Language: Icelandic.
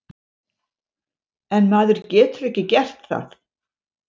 En maður getur ekki gert það.